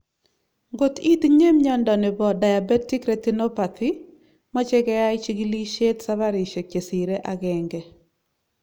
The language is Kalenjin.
Ngot itinye miondo nebo diabetic retinopathy , maache keai chigilishet safarishek chesire agenge